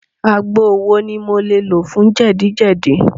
Àgbo wo ni mo lè lò fún jẹ́dì-jẹ́dì?